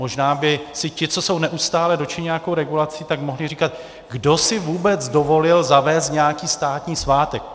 Možná by si ti, co jsou neustále dotčeni nějakou regulací, tak mohli říkat: Kdo si vůbec dovolil zavést nějaký státní svátek?